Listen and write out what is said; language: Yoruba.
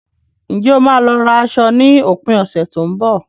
Ǹjẹ́ o máa lọ ra aṣọ ní òpin ọ̀sẹ̀ tó ń bọ̀?